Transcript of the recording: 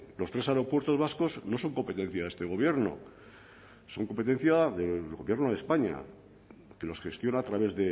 los tres aeropuertos vascos no son competencia de este gobierno son competencia del gobierno de españa que los gestiona a través